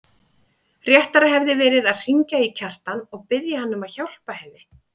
Réttara hefði verið að hringja í Kjartan og biðja hann að hjálpa henni.